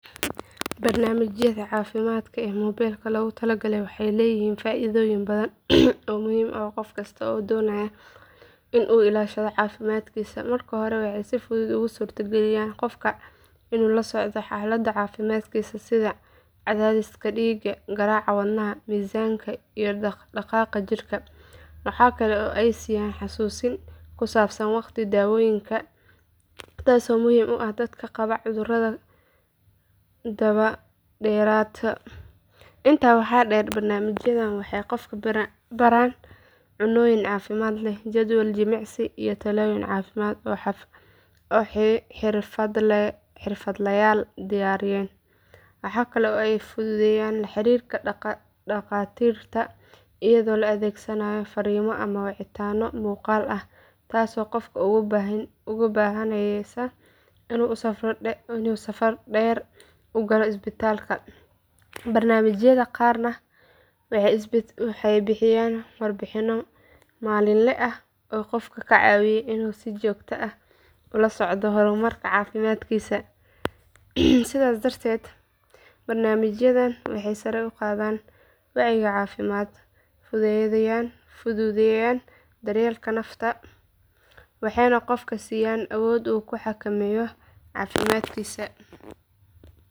Barnaamijyada caafimaadka ee mobilka loogu talagalay waxay leeyihiin faa’iidooyin badan oo muhiim u ah qof kasta oo doonaya in uu ilaashado caafimaadkiisa. Marka hore waxay si fudud ugu suurtageliyaan qofka in uu la socdo xaaladda caafimaadkiisa sida cadaadiska dhiigga, garaaca wadnaha, miisaanka iyo dhaq dhaqaaqa jirka. Waxaa kale oo ay siiyaan xasuusin ku saabsan waqtiga daawooyinka taasoo muhiim u ah dadka qaba cudurrada daba dheeraada. Intaa waxaa dheer barnaamijyadani waxay qofka baraan cunnooyin caafimaad leh, jadwal jimicsi, iyo talooyin caafimaad oo xirfadlayaal diyaariyeen. Waxa kale oo ay fududeeyaan la xiriirka dhaqaatiirta iyadoo la adeegsanayo fariimo ama wicitaanno muuqaal ah taasoo qofka uga baahnaanaysa in uu safar dheer u galo isbitaalka. Barnaamijyada qaarna waxay bixiyaan warbixinno maalinle ah oo qofka ka caawiya in uu si joogto ah ula socdo horumarka caafimaadkiisa. Sidaas darteed barnaamijyadan waxay sare u qaadaan wacyiga caafimaad, fududeeyaan daryeelka nafta, waxayna qofka siiyaan awood uu ku xakameeyo caafimaadkiisa.